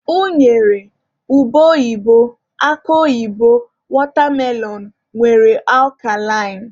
Unere, ube oyibo, akụ oyibo, watermelon wdg nwere akalain.